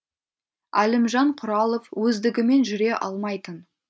әлімжан құралов өздігімен жүре алмайтын